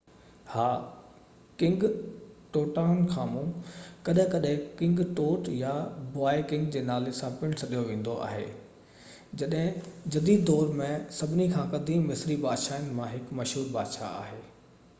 ها king Tutankhamun ڪڏهن ڪڏهن ڪنگ ٽوٽ يا بوائي ڪنگ جي نالي سان پڻ سڏيو ويندو آهي جديد دور ۾ سڀني کان قديم مصري بادشاهن مان هڪ مشهور بادشاهه آهي